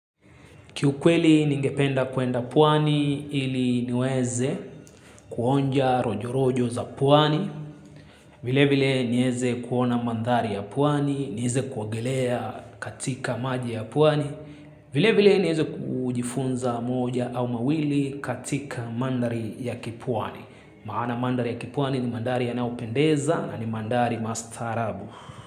Kiukweli ningependa kuenda pwani ili niweze kuonja rojo rojo za pwani. Vilevile niweze kuona mandhari ya pwani, niweze kuogelea katika maji ya pwani. Vilevile niweze kujifunza moja au mawili katika mandhari ya kipwani. Maana mandhari ya kipwani ni mandhari yanayopendeza na ni mandhari mastaarabu.